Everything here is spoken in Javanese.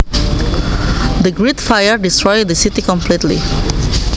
The Great Fire destroyed the city completely